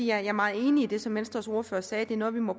jeg er meget enig i det som venstres ordfører sagde det er noget vi må